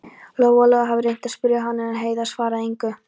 Lóa Lóa hafði reynt að spyrja hana, en Heiða svaraði engu.